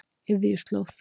Iðjuslóð